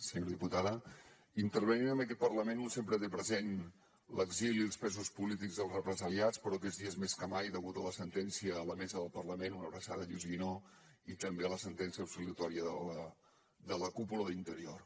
senyora diputada intervenint en aquest parlament un sempre té present l’exili i els presos polítics i els represaliats però aquests dies més que mai degut a la sentència a la mesa del parlament una abraçada a lluís guinó i també a la sentència absolutòria de la cúpula d’interior